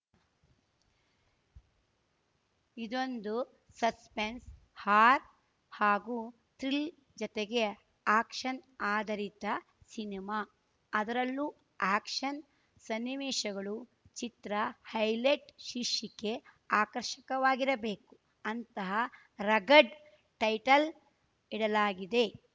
ಇದೊಂದು suspense horror ಹಾಗೂ thriller ಜತೆಗೆ ಆಕ್ಷನ್‌ ಆಧರಿತ ಸಿನಿಮಾ ಅದರಲ್ಲೂ ಆಕ್ಷನ್‌ ಸನ್ನಿವೇಶಗಳು ಚಿತ್ರ ಹೈಲೈಟ್‌ ಶೀರ್ಷಿಕೆ ಆಕರ್ಷಕವಾಗಿರಬೇಕು ಅಂತ ರಗಡ್‌ ಟೈಟಲ್‌ ಇಡಲಾಗಿದೆ